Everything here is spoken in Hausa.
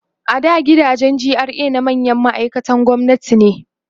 a da gidajen GRA na manyan ma'aikatan gwamnati ne